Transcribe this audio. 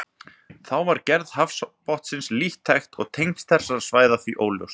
Þá var gerð hafsbotnsins lítt þekkt og tengsl þessara svæða því óljós.